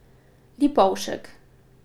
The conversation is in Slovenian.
Lipovšek.